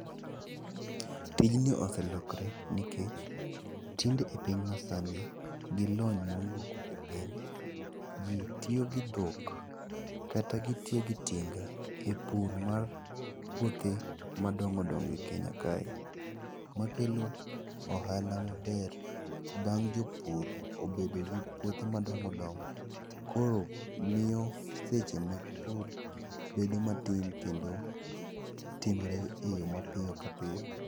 Tijni oselokre nikech tinde e piny masani, gi lony mowuok e piny, ji tiyo gi dhok kata gitiyo gi tinga e pur mar puothe madongo dongo e Kenya kae, ma kelo ohala maber bang' jopur obedo gi puothe madongo dongo, koro miyo seche mipur bedo matin, kendo timore e yo mapiyo kapiyo.